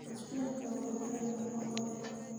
Spinach waa khudrad nafaqo leh.